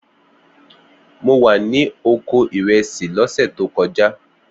Mo wà ní oko ìrẹsì lọ́sẹ̀ tó kojá